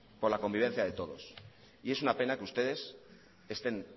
por la convivencia de todos y es una pena que ustedes estén